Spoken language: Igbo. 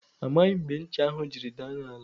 Amaghị m mgbe ncha ahụ jiri daa n' ala.